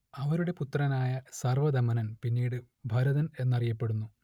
അവരുടെ പുത്രനായ സർവദമനൻ പിന്നീടു ഭരതൻ എന്നറിയപ്പെടുന്നു